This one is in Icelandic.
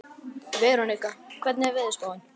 Veronika, hvernig er veðurspáin?